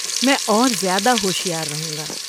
میں اور زیادہ ہوشیار رہوں گا۔